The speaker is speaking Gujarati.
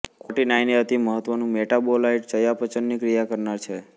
કોટિનાઇન એ અતિમહત્વનું મેટાબોલાઇટ ચયાપચયની ક્રિયા કરનાર છે